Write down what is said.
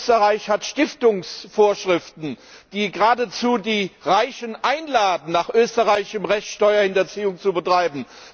Österreich hat Stiftungsvorschriften, die geradezu die Reichen einladen, nach österreichischem Recht Steuerhinterziehung zu betreiben.